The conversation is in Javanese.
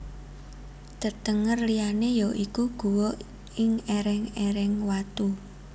Tetenger liyané ya iku guwa ing èrèng èreng watu